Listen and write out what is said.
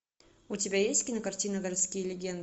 у тебя есть кинокартина городские легенды